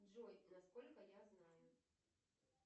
джой на сколько я знаю